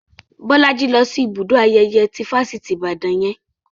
Bolaji lọ sí ibùdó ayẹyẹ ti Fáṣítì Ibadan yẹn